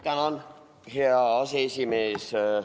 Tänan, hea aseesimees!